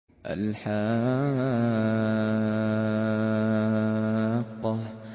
الْحَاقَّةُ